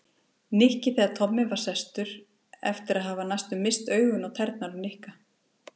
Nikki þegar Tommi var sestur eftir að hafa næstum misst augun á tærnar á Nikka.